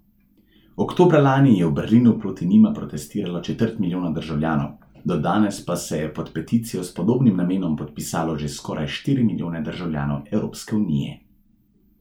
Oktobra lani je v Berlinu proti njima protestiralo četrt milijona državljanov, do danes pa se je pod peticijo s podobnim namenom podpisalo že skoraj štiri milijone državljanov Evropske unije.